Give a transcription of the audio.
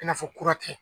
I n'a fɔ kura tɛ